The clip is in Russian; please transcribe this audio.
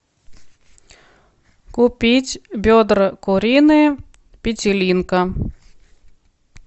купить бедра куриные петелинка